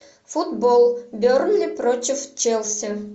футбол бернли против челси